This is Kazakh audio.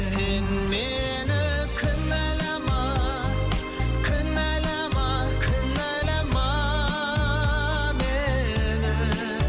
сен мені кінәлама кінәлама кінәлама мені